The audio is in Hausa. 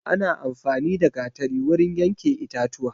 Ana amfani da gatari wurin yanke itatuwa